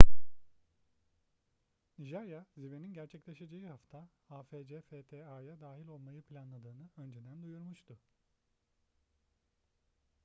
nijerya zirvenin gerçekleşeceği hafta afcfta'ya dahil olmayı planladığını önceden duyurmuştu